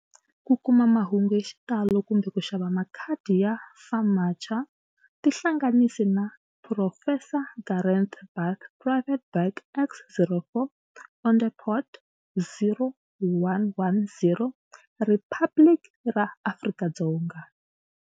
Ku kuma mahungu hi xitalo kumbe ku xava makhadi ya FAMACHA, tihlanganisi na-Phurofesa Gareth Bath Private Bag X04, Onderstepoort, 0110 Riphabliki ra Afrika-Dzonga.